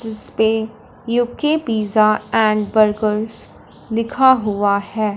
जिस पे UK pizza and burgers लिखा हुआ है।